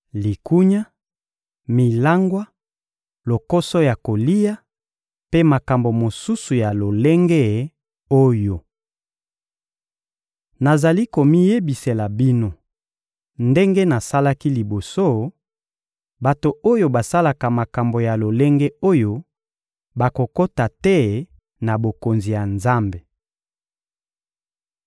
likunya, milangwa, lokoso ya kolia, mpe makambo mosusu ya lolenge oyo. Nazali komiyebisela bino, ndenge nasalaki liboso: bato oyo basalaka makambo ya lolenge oyo bakokota te na Bokonzi ya Nzambe.